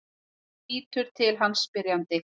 Hún lítur til hans spyrjandi.